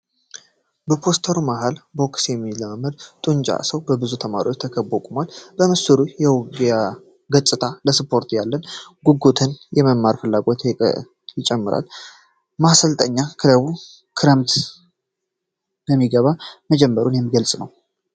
በፖስተሩ መሃል ቦክስ የሚለማመድ ጡንቻማ ሰው፣ በብዙ ተማሪዎች ተከቦ ቁሟል። የምስሉ የውጊያ ገጽታ ለስፖርቱ ያለንን ጉጉትና የመማር ፍላጎትን ይጨምራል። ማሰልጠኛ ክለቡ የክረምት ምዝገባ መጀመሩን የሚገልጽ ነው።